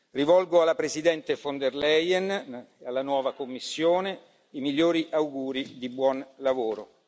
Rivolgo alla Presidente von der Leyen e alla nuova Commissione i migliori auguri di buon lavoro.